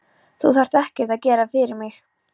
Þú þarft ekkert að gera fyrir mig.